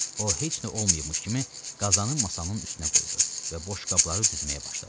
O heç nə olmayıbmış kimi qazanı masanın üstünə qoydu və boşqabları düzməyə başladı.